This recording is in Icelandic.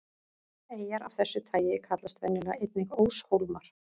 Eyjar af þessu tagi kallast venjulega einnig óshólmar.